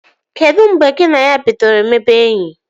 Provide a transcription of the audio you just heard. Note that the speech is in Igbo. Kedu mgbe gị na ya bidoro mebe enyi?